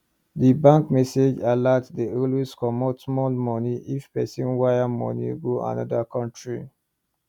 the bank message alert dey always comot small money if pesin wire money go another country